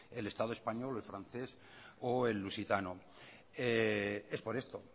el estado español o el francés o el lusitano es por esto